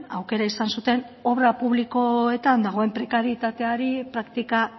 aukera izan zuten obra publikoetan dagoen prekarietateari praktika